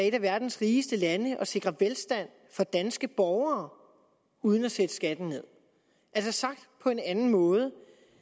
et af verdens rigeste lande og sikre velstand for danske borgere uden at sætte skatten ned altså sagt på en anden måde